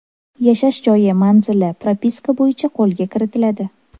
Yashash joyi manzili propiska bo‘yicha qo‘lda kiritiladi.